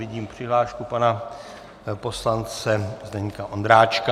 Vidím přihlášku pana poslance Zdeňka Ondráčka.